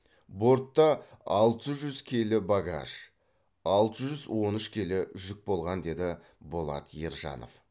бортта алты жүз келі багаж алты жүз он үш келі жүк болған деді болат ержанов